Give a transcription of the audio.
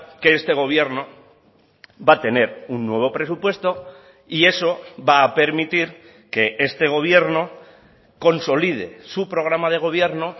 que este gobierno va a tener un nuevo presupuesto y eso va a permitir que este gobierno consolide su programa de gobierno